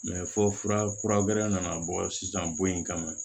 fɔ fura kuragɛra nana bɔ sisan bɔ in kama